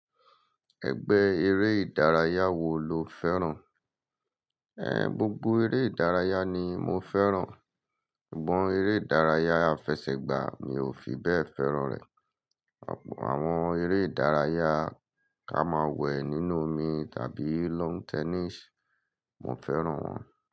Ẹgbẹ́ eré ìdárayá wo lo fẹ́ràn? Ẹn, gbogbo eré ìdárayá ni mo fẹ́ràn. Sugnon eré ìdárayá afẹsẹ̀gbá mi ò fi bẹ́ẹ̀ fẹ́ràn rẹ̀. Àwọn eré ìdárayá ká máa wẹ nínú omi tàbí lawn tennis, mo fẹ́ràn wọ́n.